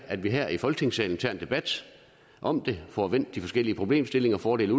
at vi her i folketingssalen tager en debat om det får vendt de forskellige problemstillinger fordele